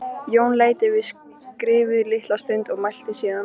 Jón leit yfir skrifið litla stund og mælti síðan